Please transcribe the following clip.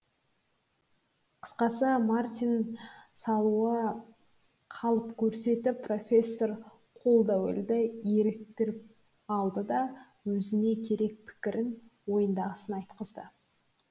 қысқасы мартин қалып көрсетіп профессор қолдуэллді еліктіріп алды да өзіне керек пікірін ойындағысын айтқызды